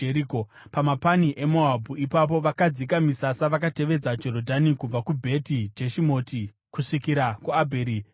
Pamapani eMoabhu ipapo vakadzika misasa vakatevedza Jorodhani kubva kuBheti Jeshimoti kusvikira kuAbheri Shitimu.